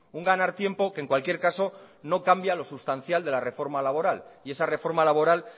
un ganar tiempo que en cualquier caso no cambia lo sustancial de la reforma laboral y esa reforma laboral